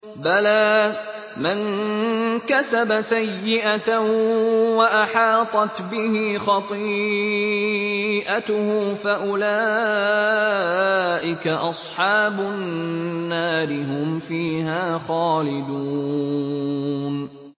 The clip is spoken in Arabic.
بَلَىٰ مَن كَسَبَ سَيِّئَةً وَأَحَاطَتْ بِهِ خَطِيئَتُهُ فَأُولَٰئِكَ أَصْحَابُ النَّارِ ۖ هُمْ فِيهَا خَالِدُونَ